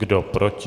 Kdo proti?